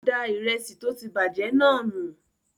Ó da ìrẹsì tó ti bàjẹ́ náà nù.